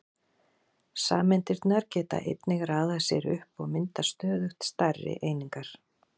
Sameindirnar geta einnig raðað sér upp og mynda stöðugt stærri einingar.